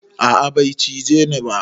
A'a bai cije ni ba.